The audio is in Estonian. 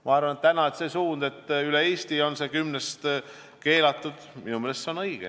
Ma arvan, et see suund, et üle Eesti on see kümnest keelatud, on õige.